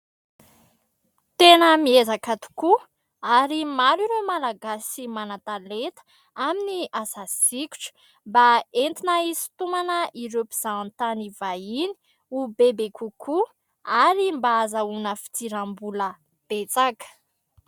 Tena mihezaka tokoa ary maro ireo malagasy manan-taleta amin'ny asasikotra mba entina hisontomana ireo mpizaha tany vahiny ho bebe kokoa, ary mba hahazoana fidirambola betsaka.